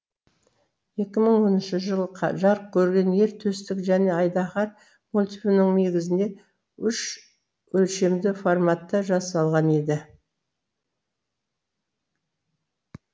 екі мың оныншы жылы жарық көрген ер төстік және айдаһар мультфильмі негізінде үш өлшемді форматта жасалған еді